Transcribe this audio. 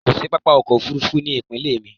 Kò sí pápá ọkọ̀ òfurufú ni ipinle mi